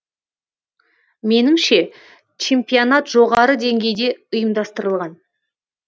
меніңше чемпионат жоғары деңгейде ұйымдастырылған